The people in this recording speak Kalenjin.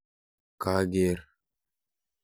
Kager.